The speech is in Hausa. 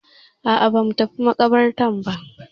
A'a ba mu tafi maƙabartar ba.